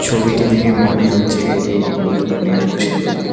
ছবিটি দেখে মনে হচ্ছে এটি একটি নদীর উপর নির্মিত সেতু।